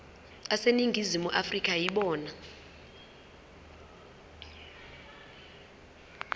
aseningizimu afrika yibona